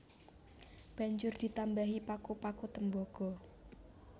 Banjur ditambahi paku paku tembaga